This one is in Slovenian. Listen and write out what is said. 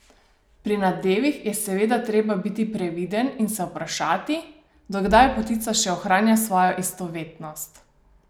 Pri nadevih je seveda treba biti previden in se vprašati, do kdaj potica še ohranja svojo istovetnost.